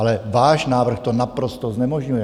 Ale váš návrh to naprosto znemožňuje.